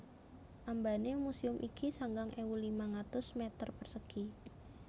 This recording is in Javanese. Ambané muséum iki sangang ewu limang atus mèter persegi